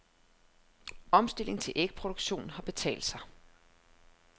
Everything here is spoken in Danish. Omstillingen til ægproduktion har betalt sig.